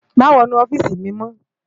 Mà wònú òfisi mi mò